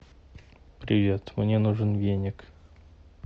привет мне нужен веник